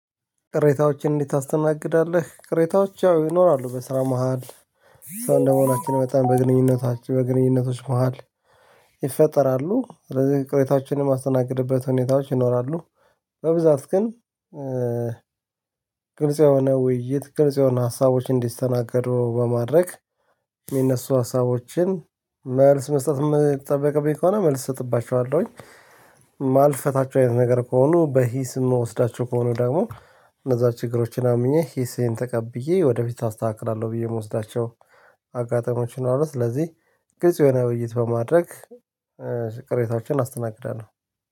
ቅሬታዎችን እንዴት ታስተናግዳለህ ቅሬታዎች ያው ይኖራሉ በስራ መሃል ሰው እንደመሆናችን መጠን በግንኙነታችን በግንኙነቶች መሃል። ይፈጠራሉ ስለዚህ ቅሬታዎችንም እማስተናግድበት ሁኔታዎች ይኖራሉ። በብዛት ግን። ግልጽ የሆነ ውይይት ግልጽ የሆነ ሀሳቦች እንዲስተናገዱ በማድረግ ሚነሱ ሀሳቦችን መልስ መስጠት ምጠብቅብኝ ከሆነ መልስ እሰጥባቸዋለሁኝ። ማልፈታቸው አይነት ነገር ከሆኑ በሂስ እምወስዳቸው ከሆኑ ደግሞ እነዛ ችግሮችን አምኜ ሂሴን ተቀብዬ ወደ ፊት አስተካክልአለሁ ብዬ ምወስዳቸው። አጋጣሚዎችን ይኖራሉ። ስለዚህ ግልጽ የሆነ ውይይት በማድረግ ቅሬታወቸን አስተናግዳለሁ